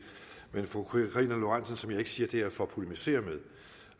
men fru karina lorentzen dehnhardt som jeg ikke siger det her for at polemisere